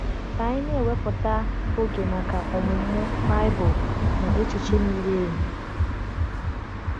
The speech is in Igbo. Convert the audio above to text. Ka anyị na-ewepụta oge maka ọmụmụ Baịbụl na echiche miri emi.